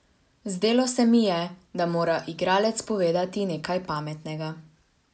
Zdelo se mi je, da mora igralec povedati nekaj pametnega.